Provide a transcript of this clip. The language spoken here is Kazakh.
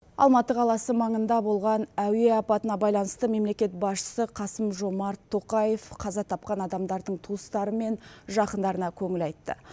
алматы қаласы маңында болған әуе апатына байланысты мемлекет басшысы қасым жомарт тоқаев қаза тапқан адамдардың туыстары мен жақындарына көңіл айтты